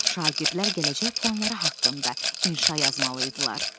Şagirdlər gələcək planları haqqında inşa yazmalı idilər.